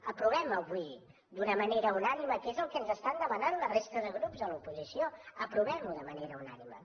aprovemho avui d’una manera unànime que és el que ens estan de manant la resta de grups de l’oposició aprovemho de ma nera unànime